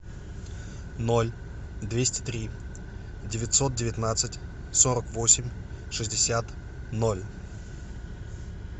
ноль двести три девятьсот девятнадцать сорок восемь шестьдесят ноль